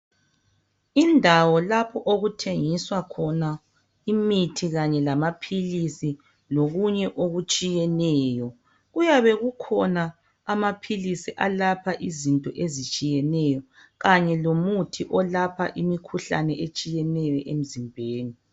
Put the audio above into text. Indawo lapho okuthengiswa khona imithi kanye lamaphilisi lokunye okutshiyeneyo kuyabe kukhona amaphilisi alapha izinto ezitshiyeneyo kanye lomuthi olapha imikhuhlane etshiyeneyo emzimbeni.